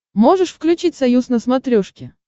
можешь включить союз на смотрешке